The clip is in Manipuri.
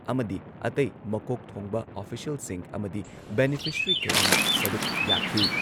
ꯑꯃꯗꯤ ꯑꯇꯩ ꯃꯀꯣꯛ ꯊꯣꯡꯕ ꯑꯣꯐꯤꯁꯤꯌꯦꯜꯁꯤꯡ ꯑꯃꯗꯤ ꯕꯦꯅꯤꯐꯤꯁꯔꯤ ꯀꯌꯥꯅ ꯁꯔꯨꯛ ꯌꯥꯈꯤ ꯫